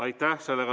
Aitäh!